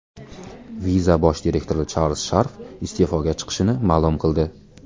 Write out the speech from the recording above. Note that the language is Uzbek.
Visa bosh direktori Charlz Sharf iste’foga chiqishini ma’lum qildi.